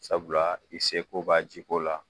Sabula i se ko b'a jiko la